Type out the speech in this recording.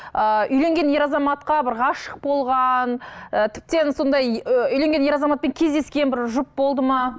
ыыы үйленген ер азаматқа бір ғашық болған і тіптен сондай ы үйленген ер азаматпен кездескен бір жұп болды ма